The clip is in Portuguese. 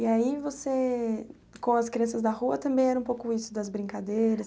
E aí você, com as crianças da rua, também era um pouco isso das brincadeiras?